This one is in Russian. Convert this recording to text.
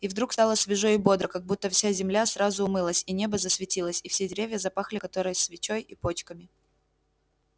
и вдруг стало свежо и бодро как будто вся земля сразу умылась и небо засветилось и все деревья запахли корой своей и почками